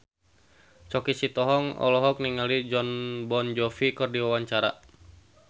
Choky Sitohang olohok ningali Jon Bon Jovi keur diwawancara